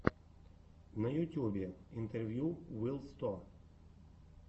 на ютюбе интервью вил сто